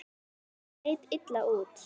Þetta leit illa út.